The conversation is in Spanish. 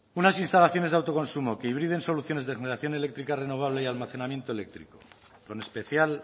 unas instalaciones de autoconsumo que hibriden soluciones de acumulación eléctrica renovable y almacenamiento eléctrico con especial